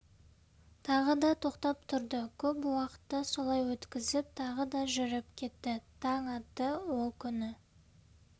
тағы да тоқтап тұрды көп уақытты солай өткізіп тағы да жүріп кетті таң атты ол күні